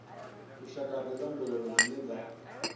lushakade lwa mbilaelo dzine dza